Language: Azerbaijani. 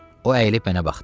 O əyilib mənə baxdı.